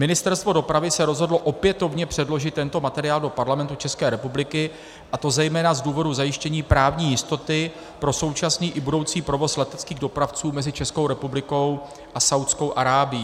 Ministerstvo dopravy se rozhodlo opětovně předložit tento materiál do Parlamentu České republiky, a to zejména z důvodu zajištění právní jistoty pro současný i budoucí provoz leteckých dopravců mezi Českou republikou a Saúdskou Arábií.